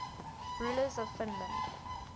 rulers of finland